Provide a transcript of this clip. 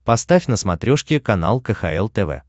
поставь на смотрешке канал кхл тв